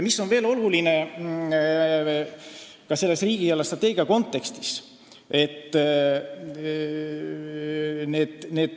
Mis on veel oluline riigi eelarvestrateegia kontekstis?